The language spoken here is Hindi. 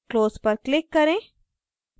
close पर click करें